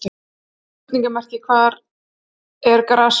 Þá er spurningamerki hvað er grasrót?